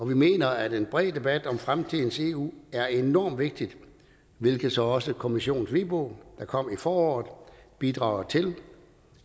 vi mener at en bred debat om fremtidens eu er enormt vigtig hvilket så også kommissionens hvidbog der kom i foråret bidrager til